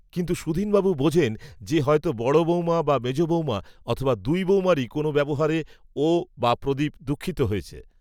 কিন্তু সুধীনবাবু বোঝেন যে, হয়তো বড় বৌমা বা মেজ বৌমা, অথবা দুই বৌমারই কোনো ব্যবহারে, ও, বা প্রদীপ দুঃখিত হয়েছে